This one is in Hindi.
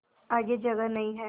आगे जगह नहीं हैं